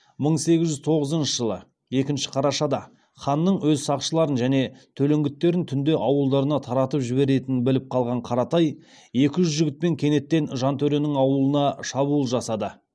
мың сегіз жүз тоғызыншы жылы екінші қарашада ханның өз сақшыларын және төлеңгіттерін түнде ауылдарына таратып жіберетінін біліп қалған қаратай екі жүз жігітпен кенеттен жантөренің ауылына шабуыл жасады